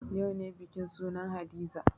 Yau ne bikin sunan hadiza